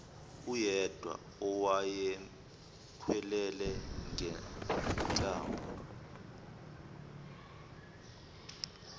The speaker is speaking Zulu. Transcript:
uyedwa owayemkhwelele ngenhlamba